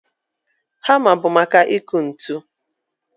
Hamma bụ maka ịkụ ntu